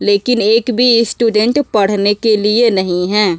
लेकिन एक बी स्टूडेंट पढ़ने के लिए नहीं है।